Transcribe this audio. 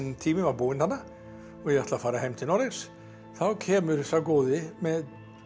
tími var búinn þarna og ég ætla að fara heim til Noregs þá kemur sá góði með